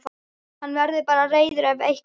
Hann verður bara reiður ef eitthvað er.